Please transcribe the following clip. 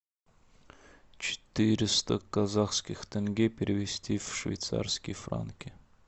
четыреста казахских тенге перевести в швейцарские франки